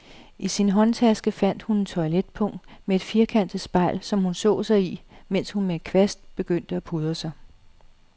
I sin håndtaske fandt hun et toiletpung med et firkantet spejl, som hun så sig i, mens hun med en kvast begyndte at pudre sig.